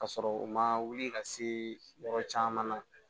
Ka sɔrɔ u ma wuli ka se yɔrɔ caman na